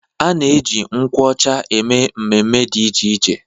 A na-eji nkwụ ọcha eme mmemme dị iche iche.